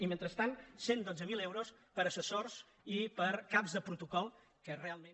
i mentrestant cent i dotze mil euros per a assessors i per a caps de protocol que realment